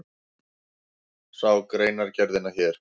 Sjá greinargerðina hér